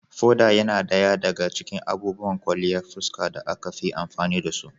Foda yana ɗaya daga cikin abubuwan kwalliyan fuska da aka fi amfani da su.